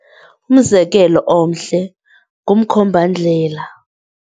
Umzekelo omhle ngumkhombandlela.